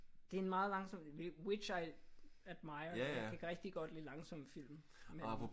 Det er en meget langsom which I admire. Jeg kan rigtig godt lide langsomme film men